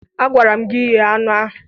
Agwara m gi ghe anụ ahụ